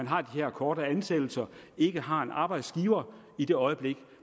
har de her korte ansættelser ikke har en arbejdsgiver i det øjeblik